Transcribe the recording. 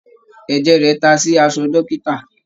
Ẹ̀jẹ̀ rẹ̀ ta sí aṣọ dọ́kítà.